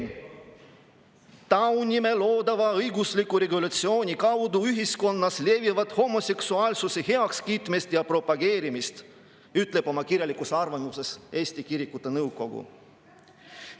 "EKN taunib loodava õigusliku regulatsiooni kaudu ühiskonnas levivat homoseksuaalsuse heakskiitmist ja propageerimist," ütleb oma kirjalikus arvamuses Eesti Kirikute Nõukogu.